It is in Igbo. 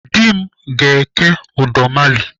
Dị m ga-eke udọmali